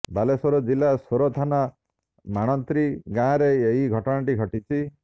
ବାଲେଶ୍ବର ଜିଲ୍ଲା ସୋର ଥାନା ମାଣତ୍ରୀ ଗାଁରେ ଏହି ଘଟଣାଟି ଘଟିଛି